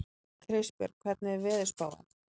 Kristbjörg, hvernig er veðurspáin?